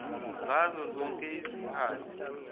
ngazo zonke izikhathi